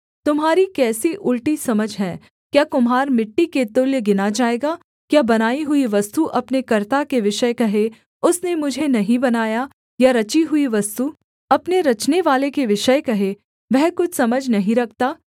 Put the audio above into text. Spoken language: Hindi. तुम्हारी कैसी उलटी समझ है क्या कुम्हार मिट्टी के तुल्य गिना जाएगा क्या बनाई हुई वस्तु अपने कर्ता के विषय कहे उसने मुझे नहीं बनाया या रची हुई वस्तु अपने रचनेवाले के विषय कहे वह कुछ समझ नहीं रखता